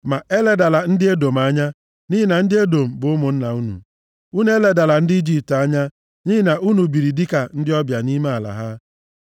Ma eledala ndị Edọm anya, nʼihi na ndị Edọm bụ ụmụnna unu. Unu eledala ndị Ijipt anya, nʼihi na unu biri dịka ndị ọbịa nʼime ala ha.